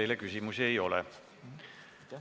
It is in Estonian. Teile küsimusi ei ole.